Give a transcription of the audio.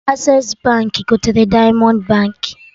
Accessi Baankị gotere Diamond Baankị